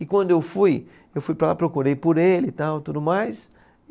E quando eu fui, eu fui para lá, procurei por ele e tal, tudo mais.